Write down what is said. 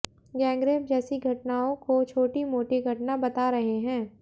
gangrape जैसी घटनाओं को छोटी मोटी घटना बता रहे हैं